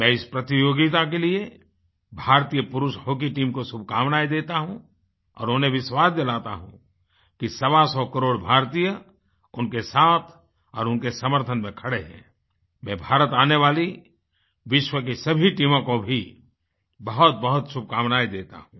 मैं इस प्रतियोगिता के लिए भारतीय पुरुष हॉकी टीम को शुभकामनाएं देता हूँ और उन्हें विश्वास दिलाता हूँ कि सवासौ करोड़ भारतीय उनके साथ और उनके समर्थन में खड़े हैं व भारत आने वाली विश्व की सभी टीमों को भी बहुतबहुत शुभकामनाएं देता हूँ